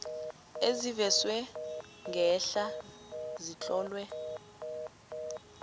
ezivezwe ngehla zitlolwe